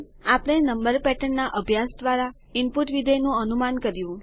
આપણે નંબર પેટર્નના અભ્યાસ દ્વારા ઈનપુટ વિધેય નું અનુમાન કર્યું